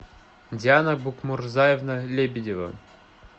диана букмурзаевна лебедева